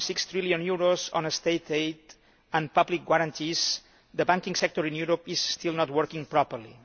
1.6 trillion of state aid and public guarantees, the banking sector in Europe is still not working properly.